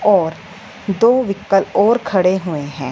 और दो व्हीकल और खड़े हुए हैं।